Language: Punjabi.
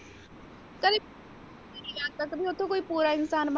ਕਦੀ ਕੋਈ ਓਥੋਂ ਪੂਰਾ ਇਨਸਾਨ ਬਣਕੇ।